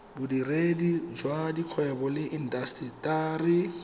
bodiredi jwa dikgwebo le intaseteri